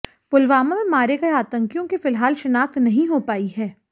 पुलवामा में मारे गए आतंकियों की फिलहाल शिनाख्त नहीं हो पाई है